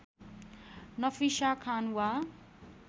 नफिसा खान वा